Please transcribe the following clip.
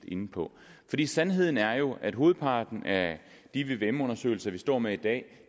inde på sandheden er jo at hovedparten af de vvm undersøgelser vi står med i dag